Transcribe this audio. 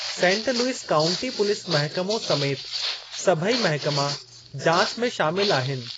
Saint Louis County police महिकमो समेति सभई महिकमा जाच में शामिल आहिनि।